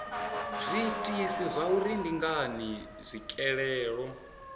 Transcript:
zwiitisi zwauri ndi ngani tswikelelo